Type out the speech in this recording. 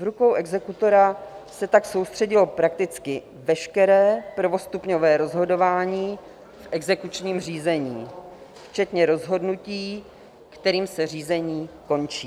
V rukou exekutora se tak soustředilo prakticky veškeré prvostupňové rozhodování v exekučním řízení včetně rozhodnutí, kterým se řízení končí.